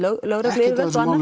lögregluyfirvöld og annað